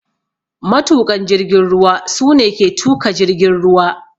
Matuƙan jirgin ruwa su ne ke tuka jirgin ruwa.